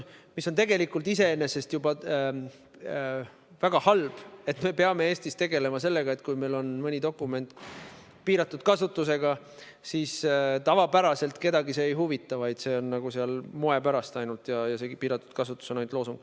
Tegelikult on väga halb, et me peame Eestis tegelema sellega, et kui meil on mõni dokument piiratud kasutusega, siis tavaliselt see asjaolu kedagi ei huvita – see "piiratud kasutus" on seal nagu moepärast, see on ainult loosung.